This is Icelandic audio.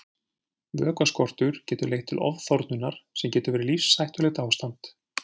Vökvaskortur getur leitt til ofþornunar sem getur verið lífshættulegt ástand.